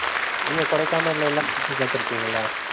நீங்க கொடைக்கானல்ல எல்லாம். சுத்தி பார்த்து இருக்கீங்களா?